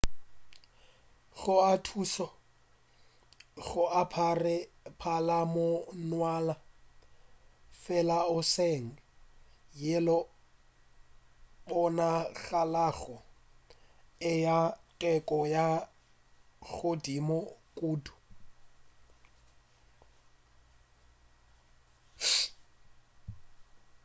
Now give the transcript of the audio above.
go a thuša go apara palamonwana fela e seng yeo e bonagalago e le ya teko ya godimo kudu